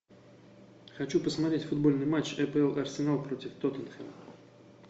хочу посмотреть футбольный матч апл арсенал против тоттенхэма